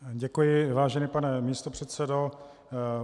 Děkuji, vážený pane místopředsedo.